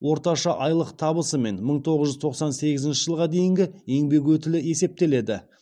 орташа айлық табысы мен мың тоғыз жүз тоқсан сегізінші жылға дейінгі еңбек өтілі есептеледі